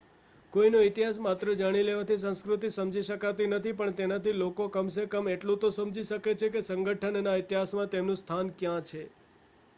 કોઈનો ઇતિહાસ માત્ર જાણી લેવાથી સંસ્કૃતિ સમજી શકાતી નથી પણ તેનાથી લોકો કમ સે કમ એટલું તો સમજી શકે છે કે સંગઠનના ઇતિહાસમાં તેમનું સ્થાન ક્યાં છે